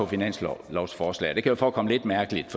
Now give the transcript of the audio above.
finanslovsforslaget det kan forekomme lidt mærkeligt